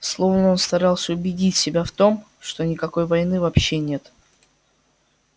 словно он старался убедить себя в том что никакой войны вообще нет